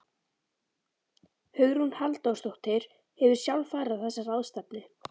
Hugrún Halldórsdóttir: Hefurðu sjálf farið á þessa ráðstefnu?